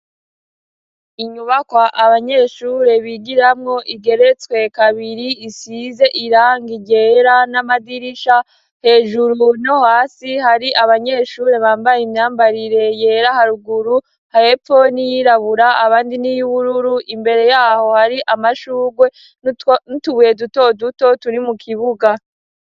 Inyubakwa abanyeshure bigiramwo igeretswe kabiri isize irangi ryera n'amadirisha, hejuru no hasi hari abanyeshure bambaye imyambarire yera haruguru, hepfo n'iyirabura abandi n'iy'ubururu imbere yaho hari amashugwe n'utubuye duto duto turi mu kibuga.